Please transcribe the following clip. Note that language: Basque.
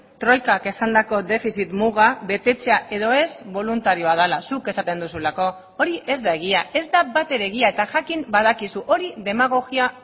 troikak esandako defizit muga betetzea edo ez boluntarioa dela zuk esaten duzulako hori ez da egia ez da batere egia eta jakin badakizu hori demagogia